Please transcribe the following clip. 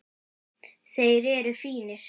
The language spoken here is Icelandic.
Þeir eru fínir.